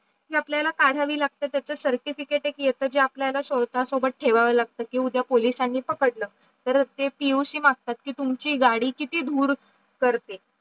ते आपल्याला काढावी लागते त्याचा certificate एक येत जे आपल्याला स्वतसोबत ठेवावे लागतात की उदया पोलिसांनी पकडलं तर ते PUC मागतात की तुमची गाडी किती धुरू करते.